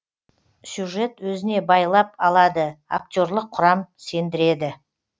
сюжет өзіне байлап алады актерлық құрам сендіреді